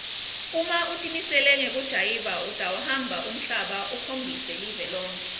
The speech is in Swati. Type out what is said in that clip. uma utimisele ngekujayiva utawuhamba umhlaba ukhombise live lonkhe